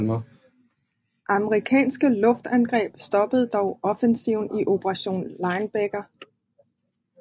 Amerikanske luftangreb stoppede dog offensiven i Operation Linebacker